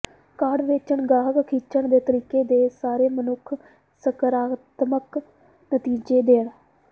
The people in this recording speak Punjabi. ਕਾਢ ਵੇਚਣ ਗਾਹਕ ਖਿੱਚਣ ਦੇ ਤਰੀਕੇ ਦੇ ਸਾਰੇ ਮਨੁੱਖ ਸਕਾਰਾਤਮਕ ਨਤੀਜੇ ਦੇਣ